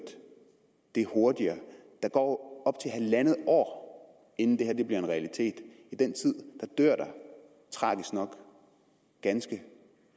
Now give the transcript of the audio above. det hurtigere der går op til halvandet år inden det her bliver en realitet i den tid dør der tragisk nok ganske